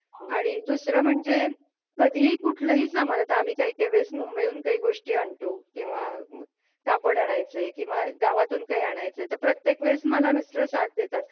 आ ,आणि दुसरं म्हणजे कधीही कुठल्याही सामन्यात आम्ही काही काहीवेळेस मुंबईतून काही गोष्टी आणतो किंवा कापड आणायचं आहे किंवा गावातून काही आणायचय तर प्रत्येक वेळेस मला मिस्टर साथ देतात.